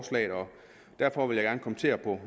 der er